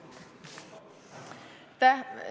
Aitäh!